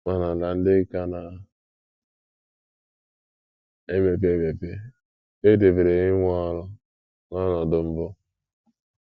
Ma n’ala ndị ka na - emepe emepe, e debere inwe ọrụ n’ọnọdụ mbụ!